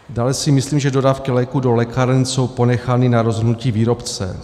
Dále si myslím, že dodávky léků do lékáren jsou ponechány na rozhodnutí výrobce.